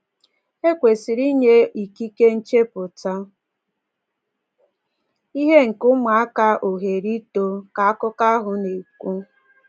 “E kwesịrị inye ikike nchepụta ihe nke ụmụaka ohere ito,” ka akụkọ ahụ na-ekwu.